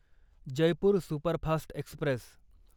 Jaipur superfast Express